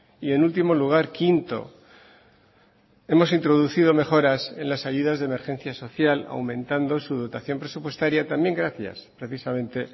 y en último lugar quinto hemos introducido mejoras en las ayudas de emergencia social aumentando su dotación presupuestaria también gracias precisamente